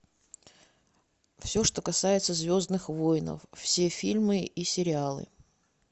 все что касается звездных воинов все фильмы и сериалы